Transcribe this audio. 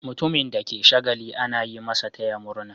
Mutumin da ke yin shagali ana yi masa "taya murna".